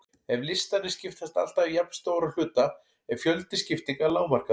Ef listarnir skiptast alltaf í jafnstóra hluta er fjöldi skiptinga lágmarkaður.